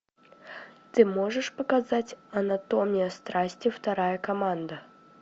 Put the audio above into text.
ты можешь показать анатомия страсти вторая команда